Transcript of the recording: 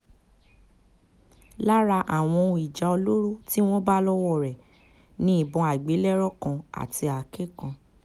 lára àwọn ohun ìjà olóró tí wọ́n bá lọ́wọ́ rẹ̀ ni ìbọn àgbélẹ̀rọ kan àti àáké kan